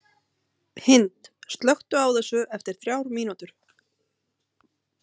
Hind, slökktu á þessu eftir þrjár mínútur.